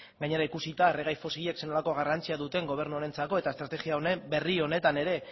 gainera ikusita erregai fosilek zer nolako garrantzia duten gobernu honentzako eta estrategia berri honetan ere